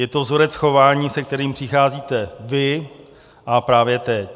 Je to vzorec chování, se kterým přicházíte vy a právě teď.